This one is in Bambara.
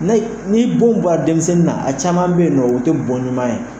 Ni denw ba' denmisɛnnin na a caman bɛ yen nɔ o tɛ bɔn ɲuman ye.